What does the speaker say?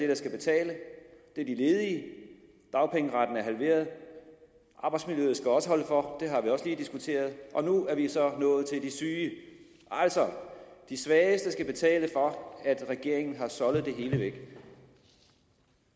der skal betale det er de ledige dagpengeretten er halveret arbejdsmiljøet skal også holde for det har vi også lige diskuteret og nu er vi så nået til de syge altså de svageste skal betale for at regeringen har soldet det hele væk